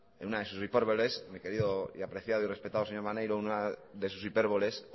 en una de sus hipérboles mi querido y apreciado y respetado señor maneiro una de sus hipérboles